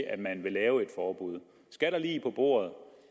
at man vil lave et forbud skal der lig på bordet